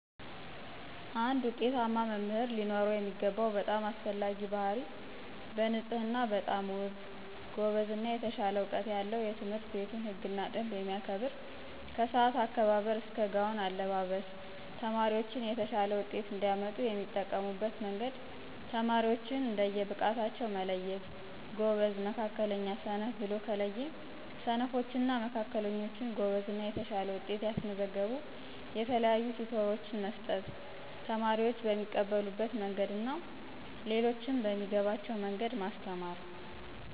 አንድ ውጤታማ መምህር ሊኖረው የሚገባው በጣም አስፈላጊ ባህርይ በንፅህና በጣም ውብ፣ ጎበዝ እና የተሻለ እውቀት ያለው የትምህርትቤቱን ህግና ደንብ የሚያከብር ከስአት አከባበር እስከ ጋውን አለባብስ። ተማሪዎች የተሻለ ውጤት እንዲያመጡ የሚጠቀሙበት መንገድ ተማሪዎችን እንደየ ብቃታቸው መለየት ጎበዝ፣ መካከለኛ፣ ሰነፍ ብሎ ከለየ ስነፎች እና መካከለኞች ጎበዝ እና የተሻለ ውጤት ያስመዘገቡ የተለያዩ ቲቶሮች መስጠት። ተማሪዎች በሚቀበሉት መንግድ እና ሌሎችም በሚገባቸዉ መንገድ ማስተማር።